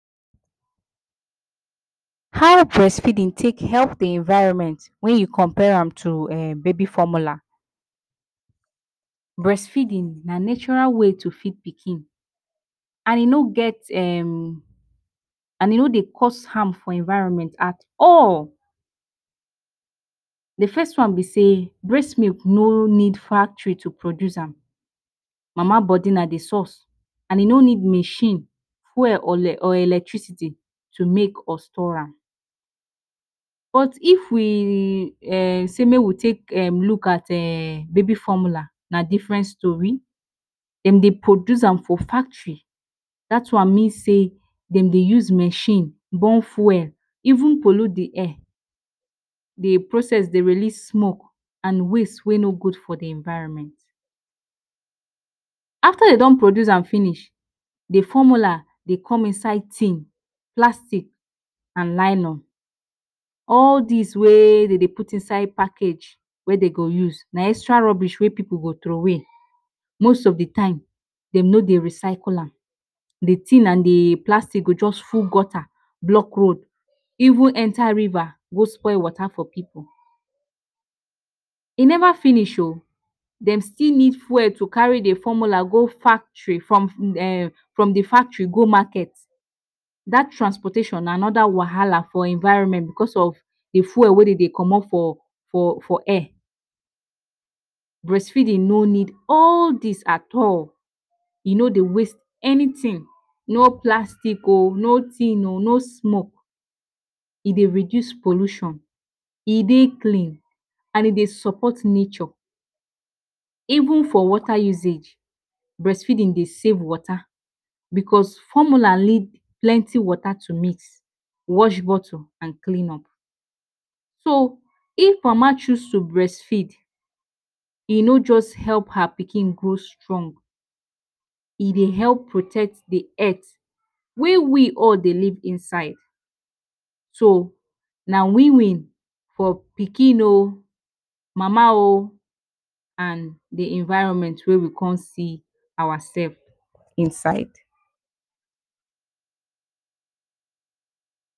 How brest feedin take help the environment wey you compare am to um baby formula? Brest feedin na natural way to feed pikin and e no get um and e no dey cost harm for environment at all. The first one be say brest milk no need factori to produce am, mama bodi na the source and e no need machine, fuel or electricity to make or store am. But if we um sey make we take um luk at um baby formula na different story, dem dey produce am for factory, dat one mean sey dem dem use machine burn fuel, even polute the air. The process dey release smok and waste wey no gud for the environment. Afta dey don produce am finish, the formula de come inside tin, plastic and nylon. All dis wey dem dey put inside pakage, wey dey go use, na extra robish wey pipu go trowey. Most of the time, dem no dey recycle am, the tin and the plastic go just full gota, blok road, even enta riva go spoil wota for pipu, e neva finish o, dem still need fuel to kari the fomula go factori, from the factory go maket. dat transportation na anoda wahala for environment because of the fuel wey dem dey comot for for air. Brest feedin no need all dis at all, e no dey waste anytin, no platic o, no tin o, no smoke, e dey reduce pollution. E dey clean and e dey sopot nature. Even for wota usage, brest feedin dey safe wota. Because formular need plenti wota to meet, wash bottle and clean up. So if mama choose to brest feed, e no just help her pikin grow strong, e dey help protect the earth wey we all dey live inside, so, na win win for pikin o, mama o and the environment wey we come see our sef inside.